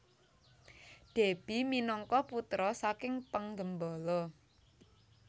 Déby minangka putra saking penggembala